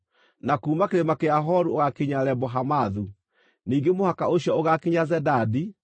na kuuma Kĩrĩma kĩa Horu ũgaakinya Lebo-Hamathu. Ningĩ mũhaka ũcio ũgaakinya Zedadi,